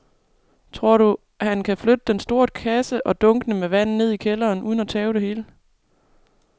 Tror du, at han kan flytte den store kasse og dunkene med vand ned i kælderen uden at tabe det hele?